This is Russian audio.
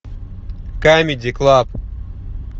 камеди клаб